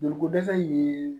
Joliko dɛsɛ in ye